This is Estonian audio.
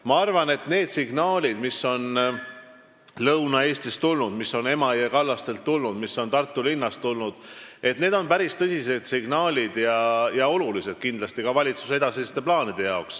Ma arvan, et need signaalid, mis on tulnud Lõuna-Eestist, Emajõe kallastelt ja Tartu linnast, on päris tõsised ja määravad kindlasti ära ka valitsuse edasised plaanid.